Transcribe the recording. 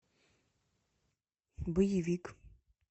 боевик